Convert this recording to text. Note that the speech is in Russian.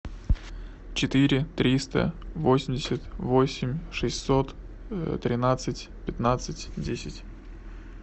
четыре триста восемьдесят восемь шестьсот тринадцать пятнадцать десять